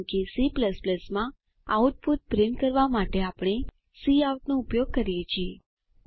કારણ કે C માં આઉટપુટ પ્રિન્ટ કરવા માટે આપણે કાઉટ નો ઉપયોગ કરીએ છીએ